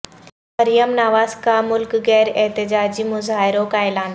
مریم نواز کا ملک گیر احتجاجی مظاہروں کا اعلان